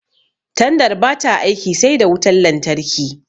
Tandar bata aiki sai da wutan lantarki